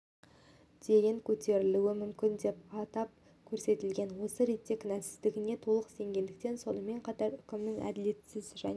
дейін көтерілуі мүмкін деп атапкөрсетілген осы ретте кінәсіздігіне толық сенгендіктен сонымен қатар үкімнің әділетсіз және